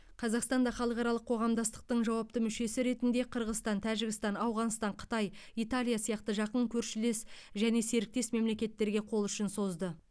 қазақстан да халықаралық қоғамдастықтың жауапты мүшесі ретінде қырғызстан тәжікстан ауғанстан қытай италия сияқты жақын көршілес және серіктес мемлекеттерге қол ұшын созды